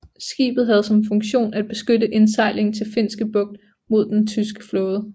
Skibet havde som funktion at beskytte indsejlingen til Finske bugt mod den tyske flåde